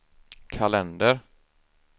kalender